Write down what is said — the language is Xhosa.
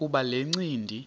kuba le ncindi